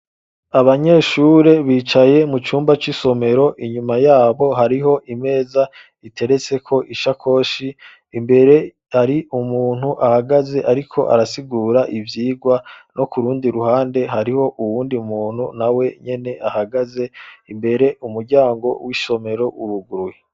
Abanyeshure bicaye mucumba c’isomero inyuma yabo hariho imeza iteretseko ishakoshi, imbere har’umuntu ahagaze ariko arasigura ivyigwa no kurundi ruhande hariho uyundi muntu nawenyene ahagaze ,imbere umuryango w’isomero uruguruye.